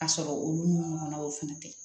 A sɔrɔ olu n'u ɲɔgɔnnaw fana tɛ